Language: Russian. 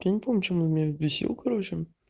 я не помню почему он меня бесил короче